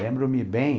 Lembro-me bem...